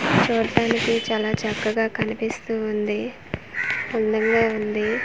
చూట్టానికి చాలా చక్కగా కనిపిస్తువుంది అందంగా ఉంది .